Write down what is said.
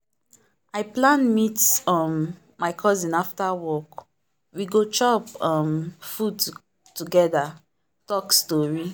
i plan meet um my cousin after work we go chop um food together talk story.